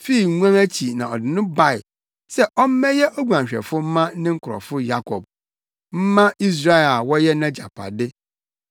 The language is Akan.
fii nguan akyi na ɔde no bae se ɔmmɛyɛ oguanhwɛfo mma ne nkurɔfo Yakob, mma Israel a wɔyɛ nʼagyapade.